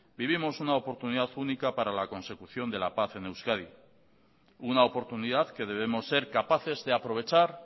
vivimos una oportunidad única para la consecución de la paz en euskadi una oportunidad que debemos ser capaces de aprovechar